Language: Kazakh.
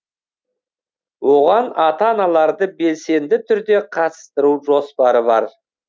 оған ата аналарды белсенді түрде қатыстыру жоспары бар